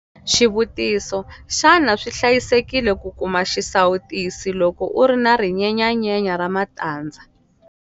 Xivutiso- Xana swi hlayisekile ku kuma xisawutisi loko u ri na rinyenyanyenya ra matandza?